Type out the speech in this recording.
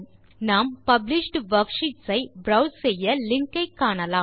நாம் published worksheets ஐ browse செய்ய லிங்க் ஐ காணலாம்